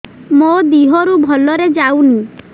ମୋ ଦିହରୁ ଭଲରେ ଯାଉନି